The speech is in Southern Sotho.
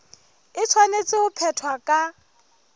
e tshwanetse ho phethwa ka